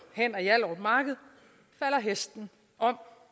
hen ad hjallerup marked falder hesten om